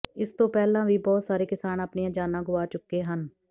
ਇਸ ਤੋਂ ਪਹਿਲਾਂ ਵੀ ਬਹੁਤ ਸਾਰੇ ਕਿਸਾਨ ਆਪਣੀਆਂ ਜਾਨਾਂ ਗੁਆ ਚੁੱਕੇ ਹਨ